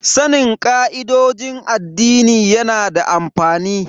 Sanin ka'idojin addini yana da amfani.